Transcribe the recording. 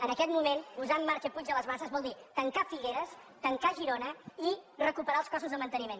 en aquest moment posar en marxa puig de les basses vol dir tancar figueres tancar girona i recuperar els costos de manteniment